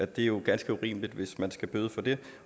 det er jo ganske urimeligt hvis man skal bøde for det